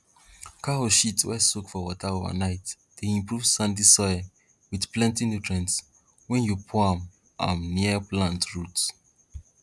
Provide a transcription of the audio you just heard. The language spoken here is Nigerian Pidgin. cow shit wey soak for water overnight dey improve sandy soil wit plenti nutrients wen yu pour am am near plant roots